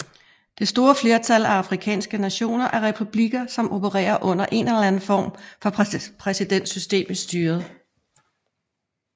Det store flertal af afrikanske nationer er republikker som opererer under en eller anden form for præsidentsystem i styret